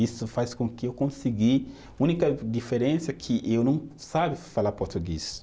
Isso faz com que eu consegui, única diferença é que eu não, sabe, falar português.